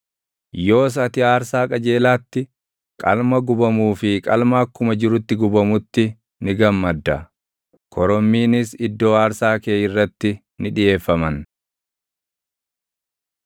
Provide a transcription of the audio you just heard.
Yoos ati aarsaa qajeelaatti, qalma gubamuu fi qalma akkuma jirutti gubamutti ni gammadda; korommiinis iddoo aarsaa kee irratti ni dhiʼeeffaman.